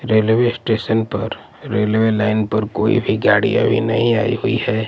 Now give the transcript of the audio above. Railway station पर railway line पर कोई भी गाड़ी अभी नहीं आई हुई है।